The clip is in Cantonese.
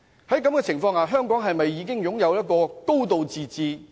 在這情況下，香港是否已擁有"高度自治"？